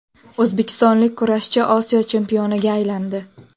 O‘zbekistonlik kurashchi Osiyo chempioniga aylandi.